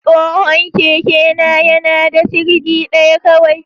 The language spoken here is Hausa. Tsohon kekena yana da sirdi ɗaya kawai.